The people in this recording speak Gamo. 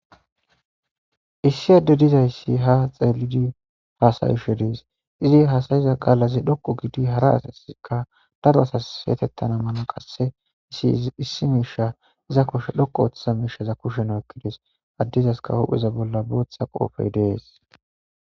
Issi adde dizayssi ha xeelidi faasayishe dees izi hasayiza qaalaze dhokqo gidi hara asaska daro asas seetettana mana qasse isi issi miisha iza koshe dhokko oothththa miisha iza kushen ekkides addizaska hupheza bolla booththa qoofey dees